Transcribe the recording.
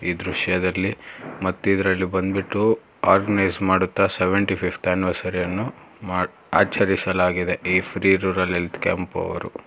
ದೃಶ್ಯದಲ್ಲಿ ಮದ್ಯದ್ರಲ್ಲಿ ಬಂದ್ಬಿಟ್ಟು ಆರ್ಗನೈಸ್ ಮಾಡುತ್ತ ಸೆವೆಂಟಿಫಿಫ್ತ್ ಆನಿವರ್ಸರಿಯನ್ನು ಮಾಡ್ ಆಚರಿಸಲಾಗಿದೆ ಈ ಫ್ರೀ ರೂರಲ್ ಹೆಲ್ತ್ ಕ್ಯಾಂಪ್ ಅವ್ರು.